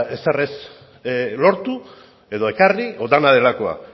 ezer ere ez lortu edo ekarri edo dena delakoa